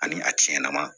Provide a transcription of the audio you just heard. Ani a cɛn na